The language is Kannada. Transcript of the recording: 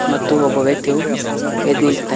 ಮತ್ತು ಒಬ್ಬ ವ್ಯಕ್ತಿಯು ಎದ್ ನಿಂತಿದ್ದಾನೆ.